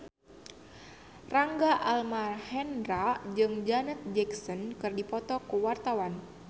Rangga Almahendra jeung Janet Jackson keur dipoto ku wartawan